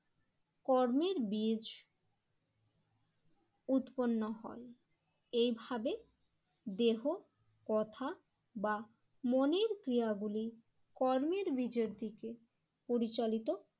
কর্মের বীজ উৎপন্ন হয়। এইভাবে দেহ কথা বা মনের ক্রিয়া গুলি কর্মের বিজের দিকে পরিচালিত